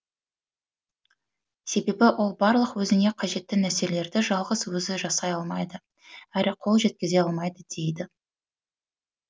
себебі ол барлық өзіне қажетті нәрселерді жалғыз өзі жасай алмайды әрі қол жеткізе алмайды дейді